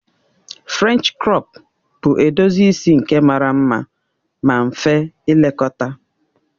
Frènchi krọp bụ edozi isi nke mara mma ma mfe ilekọta